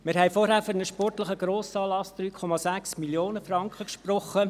Wir haben vorhin für einen sportlichen Grossanlass 3,6 Mio. Franken gesprochen.